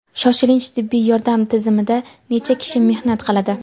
Shoshilinch tibbiy yordam tizimida necha kishi mehnat qiladi?.